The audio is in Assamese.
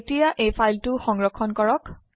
এতিয়া এই ফাইলটো সংৰক্ষণ কৰক